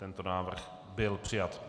Tento návrh byl přijat.